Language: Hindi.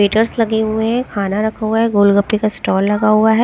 वेटर्स लगे हुए है खाना रखा हुआ है गोलगप्पे का स्टॉल लगा हुआ है--